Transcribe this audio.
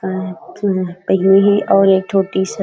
अउ एक ठो टी-शर्ट